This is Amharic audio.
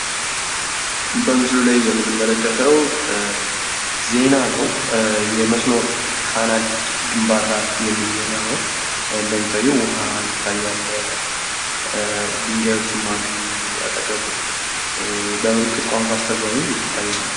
በምስሉ ላይ የምንመለከተው ዜና ነው። የመስኖ ካናል ግንባታ የሚል ዜና ነው። እንደሚታየው ውሃ ይታያል። ድንጋዮችም አሉ አጠገቡ የምልክት ቋንቋ አስተርጓሚም ይታያል።